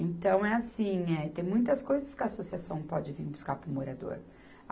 Então, é assim, eh, tem muitas coisas que a associação pode vir buscar para o morador.